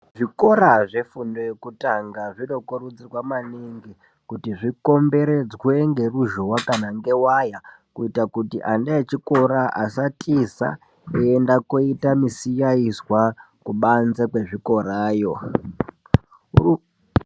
Zvikora zvefundo yekutanga zvinokurudzirwa maningi, kuti zvikomberedzwe ngeruzhowa kana ngewaya, kuita kuti ana echikora asatiza, kuenda koita misiyaizwa, kubanze kwezvikorayo.